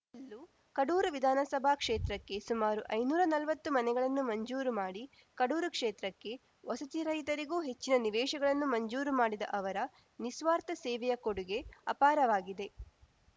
ಕಡೂರು ವಿಧಾನಸಭಾ ಕ್ಷೇತ್ರಕ್ಕೆ ಸುಮಾರು ಐನೂರಾ ನಲ್ವತ್ತು ಮನೆಗಳನ್ನು ಮಂಜೂರು ಮಾಡಿ ಕಡೂರು ಕ್ಷೇತ್ರಕ್ಕೆ ವಸತಿರಹಿತರಿಗೂ ಹೆಚ್ಚಿನ ನಿವೇಶಗಳನ್ನು ಮಂಜೂರು ಮಾಡಿದ ಅವರ ನಿಸ್ವಾರ್ಥ ಸೇವೆಯ ಕೊಡುಗೆ ಅಪಾರವಾಗಿದೆ